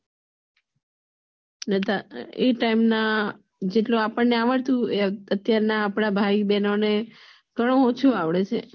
બધા એ time મ જેટલું આપણને આવડતું હોય અત્યાર ના આપડા ભાઈ બહેનને ઓછું અવડે